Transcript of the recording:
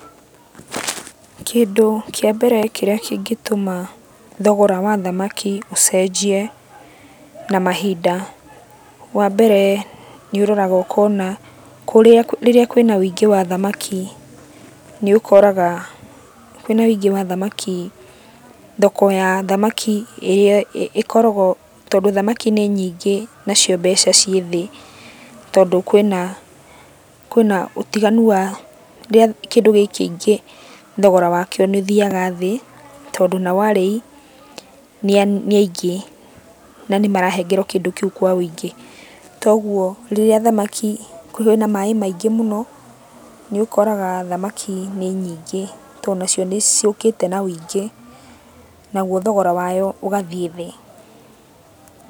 Kĩndũ kĩa mbere kĩrĩa kĩngĩtũma thogora wa thamaki ũcenjie na mahinda. Wambere nĩũroraga ũkona kũrĩa rĩrĩa kwĩna wĩingĩ wa thamaki, nĩũkoraga, kwĩna wĩingĩ wa thamaki, thoko ya thamaki ĩrĩa ĩkoragũo, tondũ thamaki nĩ nyingĩ, nacio mbeca ciĩ thĩ, tondũ kwĩna kwĩna ũtiganu wa rĩrĩa kĩndũ gĩ kĩingĩ thogora wakĩo nĩũthiaga thĩ, tondũ nao arĩi nĩ aingĩ, na nĩmarahengerwo kĩndũ kĩu kwa wĩingĩ. Toguo rĩrĩa thamaki kwĩna maĩ maingĩ mũno, nĩũkoraga thamaki nĩ nyingĩ, tondũ nacio nĩciũkĩte na wĩingĩ, naguo thogora wayo ũgathiĩ thĩ.